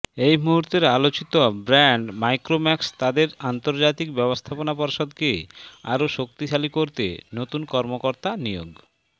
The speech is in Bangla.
এ মুহূর্তের আলোচিত ব্র্যান্ড মাইক্রোম্যাক্স তাদের আন্তর্জাতিক ব্যবস্থাপনা পর্ষদকে আরও শক্তিশালী করতে নতুন কর্মকর্তা নিয়োগ